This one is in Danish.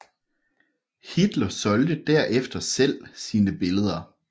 Hitler solgte derefter selv sine billeder